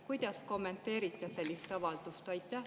Kuidas kommenteerite sellist avaldust?